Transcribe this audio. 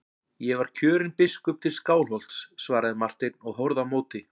Ég var kjörinn biskup til Skálholts, svaraði Marteinn og horfði á móti.